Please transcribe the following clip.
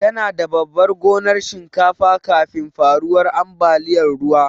Tana da babar gonar shinkafa kafin faruwar ambaliyar ruwa.